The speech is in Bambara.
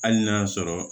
Hali n'a y'a sɔrɔ